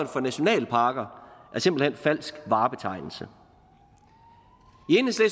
for nationalparker er simpelt hen falsk varebetegnelse